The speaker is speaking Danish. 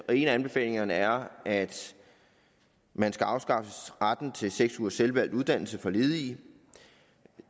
en af anbefalingerne er at man skal afskaffe retten til seks ugers selvvalgt uddannelse for ledige